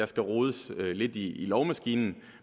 skal rodes lidt i lovmaskinen